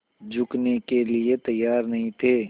झुकने के लिए तैयार नहीं थे